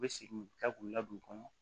U bɛ segin ka k'u la don kɔnɔ